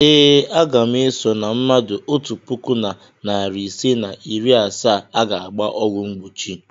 Ee, aga m eso na mmadụ otu puku na narị isii na iri asaa a ga-agba ọgwụ mgbochi.